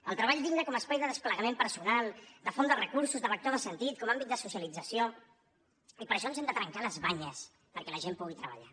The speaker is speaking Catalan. el treball digne com a espai de desplegament personal de font de recursos de vector de sentit com a àmbit de socialització i per això ens hem de trencar les banyes perquè la gent pugui treballar